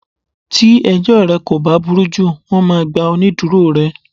Tí ẹjọ́ rẹ kò bá burú jù, wón máa gba onídùúró rẹ.